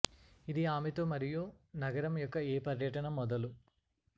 ఇది ఆమె తో మరియు నగరం యొక్క ఏ పర్యటన మొదలు